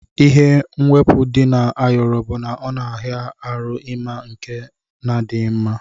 Ihe mwepu di na ayọrọ bu na ọna ara ahụ ima nke na adighi mma.